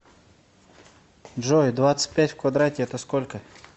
джой двадцать пять в квадрате это сколько